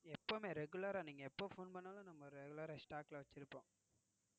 எப்பவுமே Regulara நீங்க எப்ப போன் பண்ணாலும் நம்ம Regular Stock ல வச்சிருப்போம்.